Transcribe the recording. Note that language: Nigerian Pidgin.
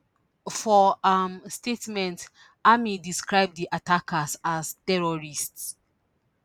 for um statement army describe di attackers as terrorists